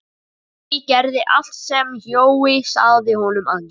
Siggi gerði allt sem Jói sagði honum að gera.